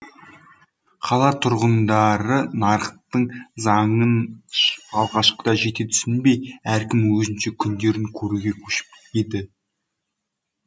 қала тұрғындары нарықтың заңын алғашқыда жете түсінбей әркім өзінше күндерін көруге көшіп еді